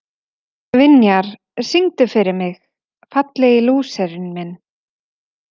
Vinjar, syngdu fyrir mig „Fallegi lúserinn minn“.